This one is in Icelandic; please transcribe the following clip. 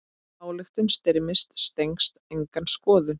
Ályktun Styrmis stenst enga skoðun.